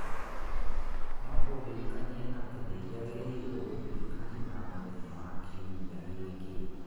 No ũndirikanie atĩ nĩ njagĩrĩirũo gũthiĩ kanitha mũthenya wa Kiumia gĩki